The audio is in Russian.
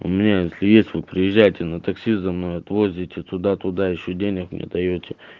у меня если есть вы приезжайте на такси за мной отвозить оттуда туда ещё денег мне даёт